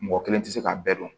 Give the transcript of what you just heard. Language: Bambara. Mɔgɔ kelen tɛ se k'a bɛɛ dɔn